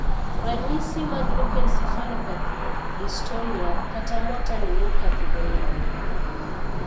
Ranyisi mag leukencephalopathy , dystonia , kata motor neuropathy gin mage?